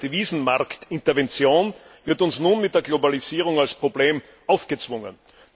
eine Devisenmarktintervention, wird uns nun mit der Globalisierung als Problem aufgezwungen.